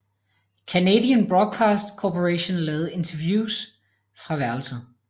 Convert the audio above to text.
Canadian Broadcast Corporation lavede interviews fra værelset